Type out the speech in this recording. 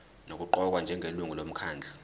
nokuqokwa njengelungu lomkhandlu